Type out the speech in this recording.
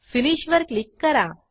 Finishवर click करा